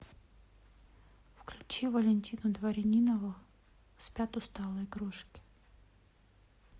включи валентину дворянинову спят усталые игрушки